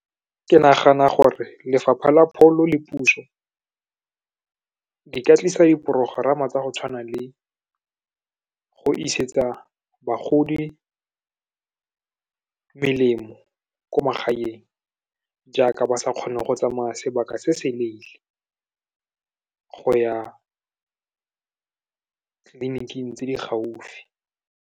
Ke nagana gore Lefapha la Pholo le puso, di ka tlisa diporogerama tsa go tshwana le go isetse bagodi melemo ko magaeng, jaaka ba sa kgone go tsamaya sebaka se seleele go ya tleliniking tse di gaufi.